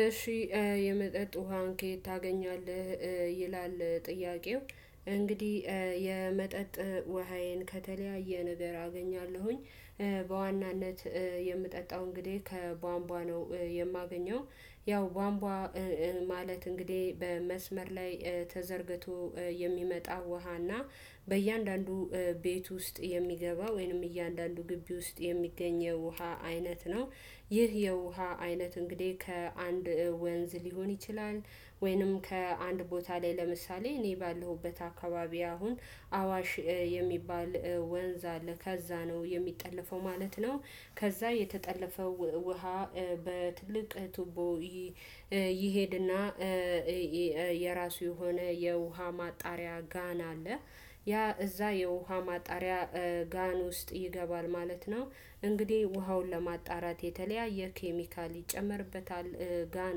እሺ የመጠጥ ውሃን ከየት ታገኛለህ? ይላል ጥያቄው እንግዲህ የመጠጥ ውሃዬን ከተለያየ ነገር አገኛለሁኝ። በዋናነት የምጠጣው እንግዲህ ከቧንቧ ነው የማገኘው። ያው ቧንቧ ማለት እንግዲህ በመስመር ላይ ተዘርግቶ የሚመጣ ውሃና በእያንዳንዱ ቤት ውስጥ የሚገባ ወይንም እያንዳንዱ ግቢ ውስጥ የሚገኘው ውሃ አይነት ነው። ይህ የውሃ አይነት እንግዲህ ከአንድ ወንዝ ሊሆን ይችላል ወይንም ከአንድ ቦታ ላይ ለምሳሌ እኔ ባለሁበት አካባቢ አሁን አዋሽ የሚባል ወንዝ አለ ከዛ ነው የሚጠለፈው ማለት ነው። ከዛ የተጠለፈውን ውሃ በትልቅ ቱቦ ይሄድና የራሱ የሆነ የውሃ ማጣሪያ ጋን አለ። ያ እዛ የውሃ ማጣሪያ ጋን ውስጥ ይገባል ማለት ነው። እንግዲህ ውሃውን ለማጣራት የተለያየ ኬሚካል ይጨመርበታል ጋን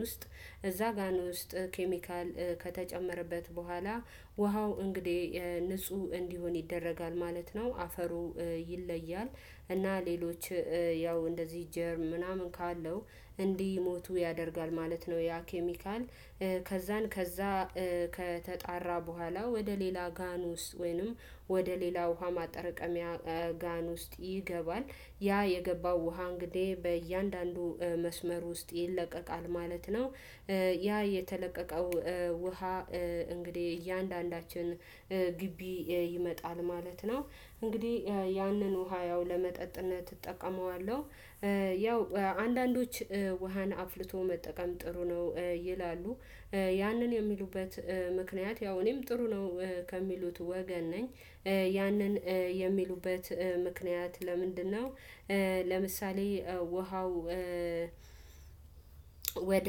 ውስጥ እዛ ጋን ውስጥ ኬሚካል ከተጨመረበት በኋላ ውሃው እንግዲህ ንጹህ እንዲሆን ይደረጋል ማለት ነው። አፈሩም ይለያል እና ሌሎች ያው እንደዚህ ጀርም ምናምን ካለው እንዲሞቱ ያደርጋል ማለት ነው። ያ ኬሚካል ከዛን ከዛ ከተጣራ በኋላ ወደ ሌላ ጋን ውስጥ ወይንም ወደ ሌላ ውሃ ማጠረቀሚያ ጋን ውስጥ ይገባል ያ የገባው ውሃ እንግዲህ በእያንዳንዱ መስመር ውስጥ ይለቀቃል ማለት ነው። ያ የተለቀቀው ውሃ እንግዲህ እያንዳንዳችን ግቢ ይመጣል ማለት ነው። እንግዲህ ያንን ውሃ ያው ለመጠጥነት እጠቀመዋለሁ። ያው አንዳንዶች ውሃን አፍልቶ መጠቀም ጥሩ ነው። ይላሉ ያንን የሚሉበት ምክንያት ያው እኔም ጥሩ ነው ከሚሉት ወገን ነኝ። ያንን የሚሉበት ምክንያት ለምንድነው? ለምሳሌ ውሃው ወደ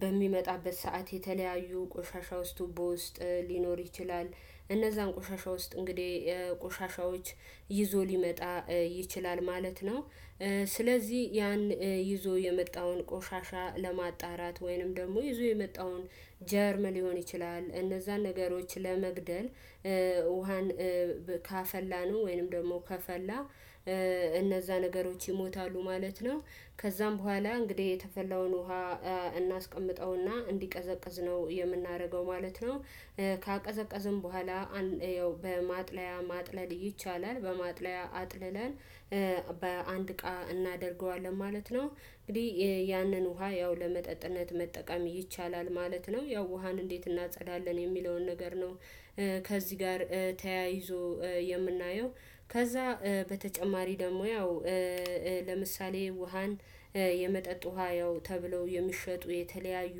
በሚመጣበት ሰዓት የተለያዩ ቆሻሻ ውስጥ በውስጥ ሊኖር ይችላል እነዛን ቆሻሻ ውስጥ እንግዲህ ቆሻሻዎች ይዞ ሊመጣ ይችላል ማለት ነው። ስለዚህ ያን ይዞ የመጣውን ቆሻሻ ለማጣራት ወይንም ደግሞ ይዞ የመጣውን ጀርም ሊሆን ይችላል እነዛን ነገሮች ለመግደል ውሃን ካፈላነው ወይንም ደግሞ ከፈላ እነዛ ነገሮች ይሞታሉ ማለት ነው። ከዛም በኋላ እንግዲህ የፈላውን ውሃ እናስቀምጠውና እንዲቀዘቅዝ ነው የምናደርገው ማለት ነው። ካቀዘቀዝነው በኋላ ያው በማጥለያ ማጥለል ይቻላል በማጥለያ አጥልለን በአንድ እቃ እናደርገዋለን ማለት ነው። እንግዲህ ያንን ውሃ ያው ለመጠጥነት መጠቀም ይቻላል ማለት ነው። ያው ውሃን እንዴት እናጸዳለን የሚለውን ነገር ነው። ከዚህ ጋር ተያይዞ የምናየው ከዛ በተጨማሪ ደግሞ ያው ለምሳሌ ውሃን የመጠጥ ውሃ ያው ተብለው የሚሸጡ የተለያዩ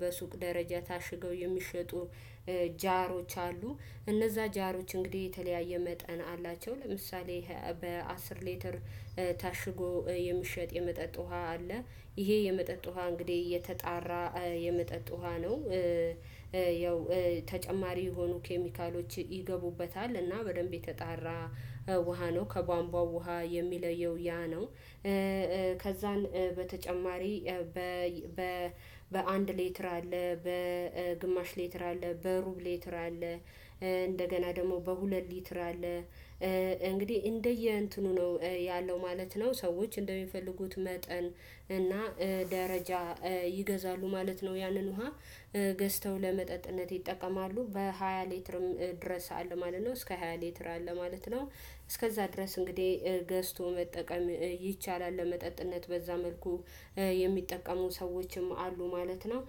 በሱቅ ደረጃ ታሽገው የሚሸጡ ጃሮች አሉ። እነዛ ጃሮች እንግዲህ የተለያየ መጠን አላቸው። ለምሳሌ በአስር ሌትር ታሽጎ የምሸጥ የመጠጥ ውሃ አለ። ይሄ የመጠጥ ውሃ እንግዲህ የተጣራ የመጠጥ ውሃ ነው። ተጨማሪ የሆኑ ኬሚካሎች ይገቡበታል እና በደንብ የተጣራ ውሃ ነው ከቧንቧ ውሃ የሚለየው ያ ነው። ከዛን በተጨማሪ በ በአንድ ሌትር አለ በግማሽ ሌትር አለ በሩብ ሌትር አለ። እንደገና ደግሞ በሁለት ሊትር አለ። እንግዲህ እንደየ እንትኑ ነው ያለው ማለት ነው። ሰዎች እንደሚፈልጉት መጠን እና ደረጃ ይገዛሉ ማለት ነው። ያንን ውሃ ገዝተው ለመጠጥነት ይጠቀማሉ በሃያ ሊትርም ድረስ አለ ማለት ነው እስከ ሃያ ሊትር አለ ማለት ነው። እስከዛ ድረስ እንግዲህ ገዝቶ መጠቀም ይቻላል ለመጠጥነት በዛ መልኩ የሚጠቀሙ ሰዎችም አሉ ማለት ነው።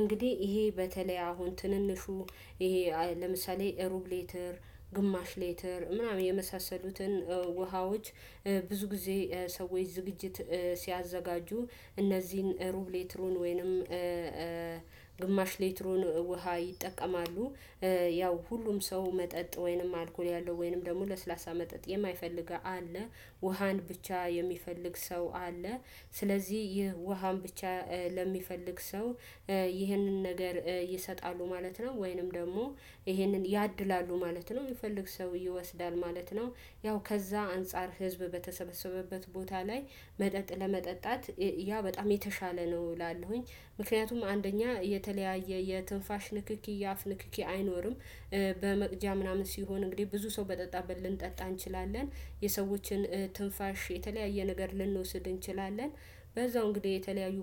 እንግዲህ ይሄ በተለይ አሁን ትንንሹ ይሄ ለምሳሌ ሩብ ሌትር ግማሽ ሌትር ምናምን የመሳሰሉትን ውሃዎች ብዙ ጊዜ ሰዎች ዝግጅት ሲያዘጋጁ እነዚህን ሩብ ሌትሩን ወይንም ግማሽ ሌትሩን ውሃ ይጠቀማሉ። ያው ሁሉም ሰው መጠጥ ወይንም አልኮል ያለው ወይንም ደግሞ ለስላሳ መጠጥ የማይፈልግ አለ። ውሃን ብቻ የሚፈልግ ሰው አለ። ስለዚህ ይህ ውሃን ብቻ ለሚፈልግ ሰው ይህንን ነገር ይሰጣሉ ማለት ነው። ወይንም ደግሞ ይህንን ያድላሉ ማለት ነው። የሚፈልግ ሰው ይወስዳል ማለት ነው። ያው ከዛ አንፃር ህዝብ በተሰበሰበበት ቦታ ላይ መጠጣት ያ በጣም የተሻለ ነው እላለሁኝ። ምክንያቱም አንደኛ የተለያየ የትንፋሽ ንክኪ የአፍ ንክኪ አይኖርም። በመቅጃ ምናምን ሲሆን እንግዲህ ብዙ ሰው በጠጣበት ልንጠጣ እንችላለን። የሰዎችን ትንፋሽ የተለያየ ነገር ልንወስድ እንችላለን። በዛው እንግዲህ የተለያዩ